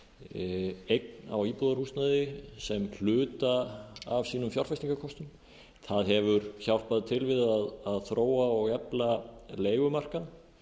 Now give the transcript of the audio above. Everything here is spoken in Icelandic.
lífeyrissjóðir eign á íbúðarhúsnæði sem hluta af sínum fjárfestingarkostum það hefur hjálpað til við að þróa og efla leigumarkað